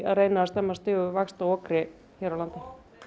að stemma stigu við vaxtaokri hér á landi